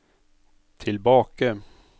tilbake